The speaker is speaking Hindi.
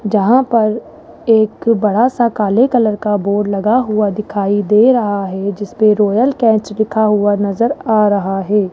जहां पर एक बड़ा सा काले कलर का बोर्ड लगा हुआ दिखाई दे रहा है जिसपे रॉयल कैच लिखा हुआ नज़र आ रहा है।